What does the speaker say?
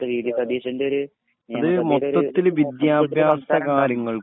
അടുത്ത് V D സതീശൻ്റെയൊര്